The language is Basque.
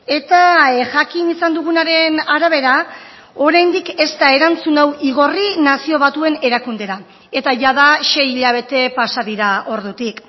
eta jakin izan dugunaren arabera oraindik ez da erantzun hau igorri nazio batuen erakundera eta jada sei hilabete pasa dira ordutik